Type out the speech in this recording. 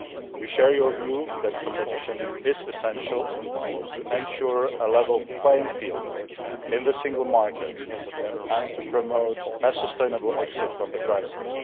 We share your view that competition is essential to ensure a level playing field in the single market and to promote a sustainable exit from the crisis.